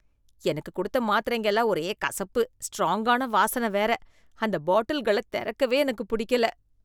எனக்கு கொடுத்த மாத்திரைங்க எல்லாம் ஒரே கசப்பு, ஸ்ட்ராங்கான வாசனை வேற, அந்த பாட்டில்கள திறக்கவே எனக்குப் பிடிக்கல.